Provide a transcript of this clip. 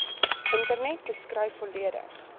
internet beskryf volledig